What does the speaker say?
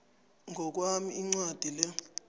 ngokwami incwadi le